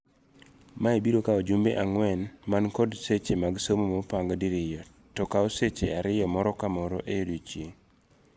Mae biro kawo jumbe ang'wen man kod seche mag somo mopang diriyo tokawo seche ariyo moro kamoro ei odiechieng'.